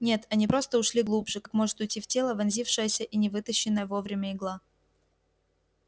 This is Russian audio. нет они просто ушли глубже как может уйти в тело вонзившаяся и не вытащенная вовремя игла